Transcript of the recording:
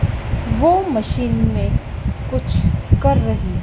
वो मशीन मैं कुछ कर रहे--